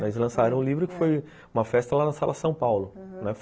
Eles lançaram o livro, que foi uma festa lá na Sala São Paulo, aham